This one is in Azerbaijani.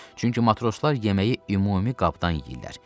Çünki matroslar yeməyi ümumi qabdan yeyirdilər.